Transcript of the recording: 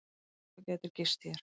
Þú gætir gist hér.